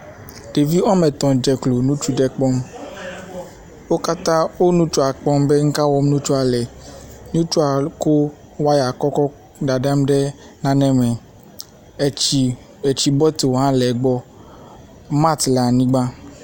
Ɖevi woame etɔ̃ dze klo, nutsu aɖe kpɔm, wo katã wo nutsua kpɔm be nu ka wɔm nutsua le. Ŋutsua ko waya kɔ kɔ dadam ɖe nane me. Etsi etsi bɔtel hã le gbɔ, mat le anyigba.